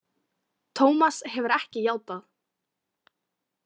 Tómas hefur ekki játað.